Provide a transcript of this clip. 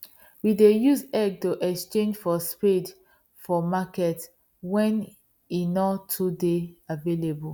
we dey use egg to exchange for spade for market wen e nor too dey available